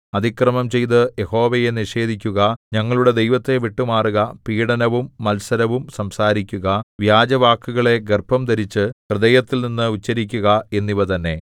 അതിക്രമം ചെയ്തു യഹോവയെ നിഷേധിക്കുക ഞങ്ങളുടെ ദൈവത്തെ വിട്ടുമാറുക പീഡനവും മത്സരവും സംസാരിക്കുക വ്യാജവാക്കുകളെ ഗർഭംധരിച്ചു ഹൃദയത്തിൽനിന്ന് ഉച്ചരിക്കുക എന്നിവ തന്നെ